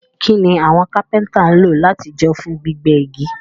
Kíni àwon Kápẹ́ńtà n lo làtijọ́ fún gbígbẹ́ igi?